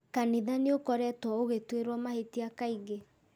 Kanitha nĩũkoretwo ũgĩtuĩrwo mahĩtia kaingĩ